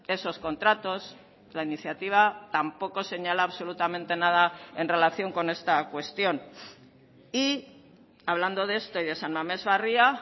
esos contratos la iniciativa tampoco señala absolutamente nada en relación con esta cuestión y hablando de esto y de san mamés barria